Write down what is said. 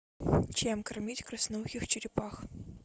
чем кормить красноухих черепах